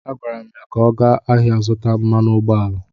A gwara m ya ka ọ gaa ahịa zụta mmanụ ụgbọala!